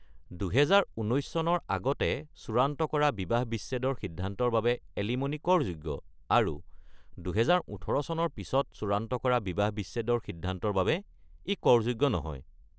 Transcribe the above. ২০১৯ চনৰ আগতে চূড়ান্ত কৰা বিবাহ বিচ্ছেদৰ সিদ্ধান্তৰ বাবে এলিম'নি কৰযোগ্য আৰু ২০১৮ চনৰ পিছত চূড়ান্ত কৰা বিবাহ বিচ্ছেদৰ সিদ্ধান্তৰ বাবে, ই কৰযোগ্য নহয়।